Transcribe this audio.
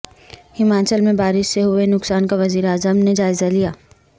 ہماچل میں بارش سے ہوئے نقصان کا وزیراعظم نے جائزہ لیا